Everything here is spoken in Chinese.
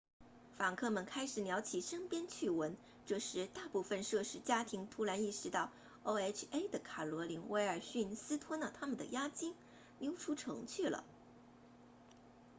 房客们开始聊起身边趣闻这时大部分涉事家庭突然意识到 oha 的卡罗琳威尔逊私吞了他们的押金溜出城去了